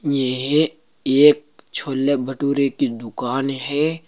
यह एक छोले भटूरे की दुकान है।